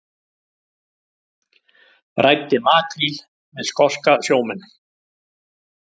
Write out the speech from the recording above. Ræddi makríl við skoska sjómenn